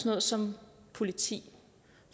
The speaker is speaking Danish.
noget som politi